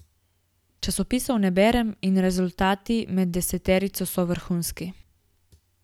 Časopisov ne berem in rezultati med deseterico so vrhunski.